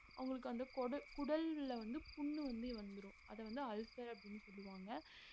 அவங்களுக்கு வந்து கொட~ குடல்ல வந்து புண்ணு வந்தி வந்துரும் அது வந்து ulcer அப்டினு சொல்லுவாங்க